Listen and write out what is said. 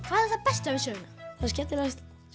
hvað er það besta við söguna það skemmtilegasta